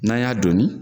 N'an y'a donni